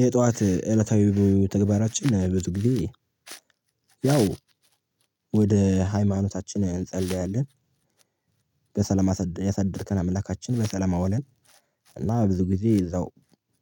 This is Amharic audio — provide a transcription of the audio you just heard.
የጧት እለታዊ ተግባራችን ብዙ ጊዜ ያው ወደ ሃይማኖታችን እንጸልያለን። በሰለም ያሳደርከን አምላካችን በሰለም አውለን። እና ብዙ ጊዜ እዛው